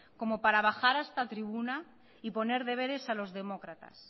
como para bajar a esta tribuna y poner deberes a los demócratas